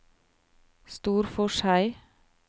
Storforshei